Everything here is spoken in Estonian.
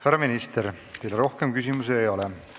Härra minister, teile rohkem küsimusi ei ole.